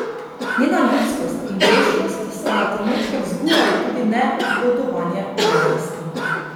Njena ljudskost in grešnost sta na trenutke vzbujali tudi negodovanje javnosti.